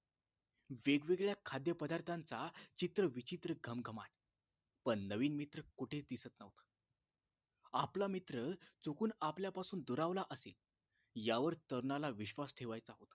वेगवेगळ्या खाद्यपदार्थांचा चित्र विचित्र घमघमाट पण नवीन मित्र कुठेच दिसत न्हवता आपला मित्र चुकून आपल्यापासून दुरावला असेल यावर तरुणाला विश्वास ठेवायचा होता